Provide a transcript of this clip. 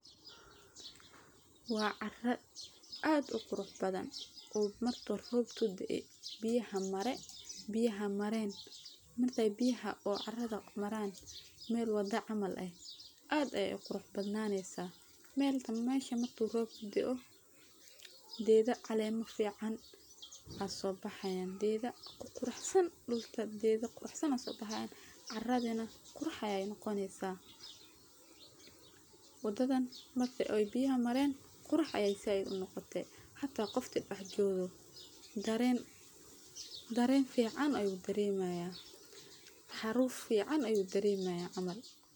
Wa cara ad u qurux bathan oo marku robku dee biyaha maren, markay biyaha oo caraad maran mel wadha camal ah ad ayaa u qurux badnanesaah, mesha marku rob kudaoo, gedha calema fican aa sobaxayan gedha quruxsan dhulka gedha quruxsan aa sobaxayan, caradhana qurux ayey noqoneysaah . Wadadhan marki oy biyaha maren qurux ay zaid unoqote, hata qofki dax jogo daren fican ayuu daremaya, xaruf fican ayuu daremaya camal